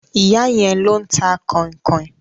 Ìyá yẹn ló ń ta kọ̀nkọ̀n.